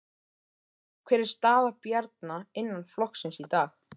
Sindri: Hver er staða Bjarna innan flokksins í dag?